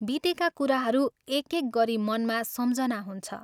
बितेका कुराहरू एक एक गरी मनमा सम्झना हुन्छ।